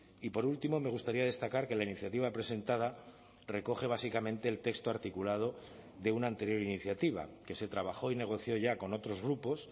y por último me gustaría destacar que la iniciativa presentada recoge básicamente el texto articulado de una anterior iniciativa que se trabajó y negoció ya con otros grupos